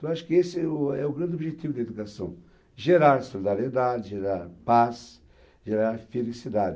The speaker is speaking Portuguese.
Então acho que esse é o é o grande objetivo da educação, gerar solidariedade, gerar paz, gerar felicidade.